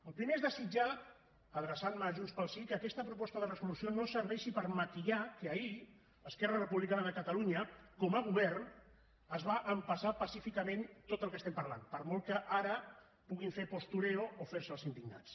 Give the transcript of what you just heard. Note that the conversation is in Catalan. el primer és desitjar adreçant me a junts pel sí que aquesta proposta de resolució no serveixi per maquillar que ahir esquerra republicana de catalunya com a govern es va empassar pacíficament tot el que estem parlant per molt que ara puguin fer postureo o fer se els indignats